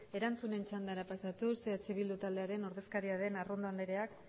erantzunen txandara pasatuz eh bildu taldearen ordezkaria den arrondo andereak